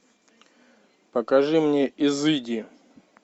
покажи мне изыди